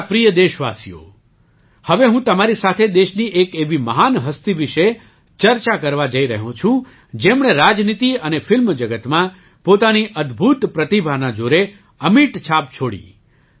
મારા પ્રિય દેશવાસીઓ હવે હું તમારી સાથે દેશની એક એવી મહાન હસ્તી વિશે ચર્ચા કરવા જઈ રહ્યો છું જેમણે રાજનીતિ અને ફિલ્મ જગતમાં પોતાની અદ્ભુત પ્રતિભાના જોરે અમિટ છાપ છોડી